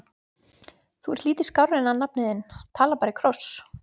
Þú ert lítið skárri en hann nafni þinn, talar bara í kross!